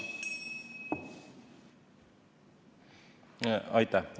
Aitäh!